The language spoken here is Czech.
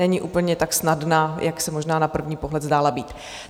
Není úplně tak snadná, jak se možná na první pohled zdála být.